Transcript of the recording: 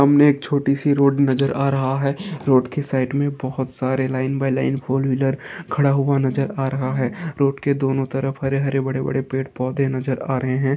सामने एक छोटी सी रोड नजर आ रहा है रोड के साइड में बहोत सारे line by line four wheeler खड़ा हुआ नजर आ रहा है रोड के दोनों तरफ हरे हरे बड़े बड़े पेड़ पौधे नज़र आ रहे हैं।